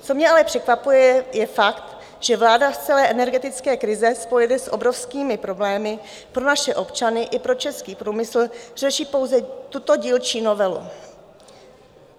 Co mě ale překvapuje, je fakt, že vláda z celé energetické krize spojené s obrovskými problémy pro naše občany i pro český průmysl řeší pouze tuto dílčí novelu.